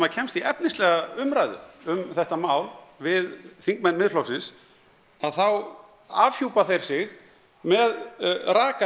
kemst í efnislega umræðu um þetta mál við þingmenn Miðflokksins að þá afhjúpa þeir sig með